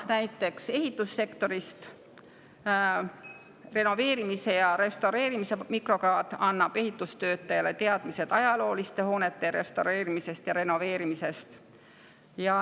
Näide ehitussektorist: renoveerimise ja restaureerimise mikrokraad annab ehitustöötajale teadmised ajalooliste hoonete restaureerimisest ja renoveerimisest.